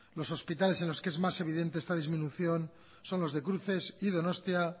los hospitales en los que es más evidente esta disminución son los de cruces y donostia